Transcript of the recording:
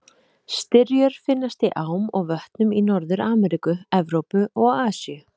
Styrjur finnast í ám og vötnum í Norður-Ameríku, Evrópu og Asíu.